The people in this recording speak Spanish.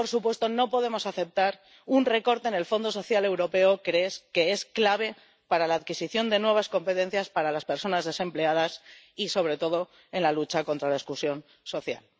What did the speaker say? y por supuesto, no podemos aceptar un recorte en el Fondo Social Europeo, que es clave para la adquisición de nuevas competencias para las personas desempleadas y, sobre todo, en la lucha contra la exclusión social.